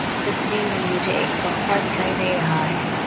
इस तस्वीर में मुझे एक सोफा दिखाई दे रहा है।